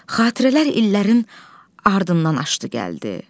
Xatirələr illərin ardından aşdı, gəldi.